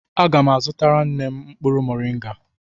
Aga m azutara nne m mkpụrụ moringa.